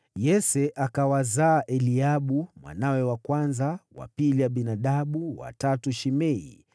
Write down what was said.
Yese akawazaa Eliabu mwanawe wa kwanza; wa pili Abinadabu, wa tatu Shimea,